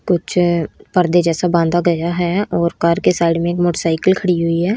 कुछ पर्दे जैसा बांधा गया है और कार के साइड में एक मोटरसाइकिल खड़ी हुई है।